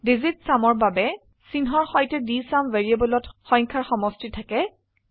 digit sumঅৰ বাবে চিহ্নৰ সৈতে ডিএছইউএম ভ্যাৰিয়েবলত সংখ্যাৰ সমষ্টি থাকে